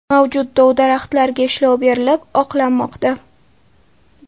Mavjud dov-daraxtlarga ishlov berilib, oqlanmoqda.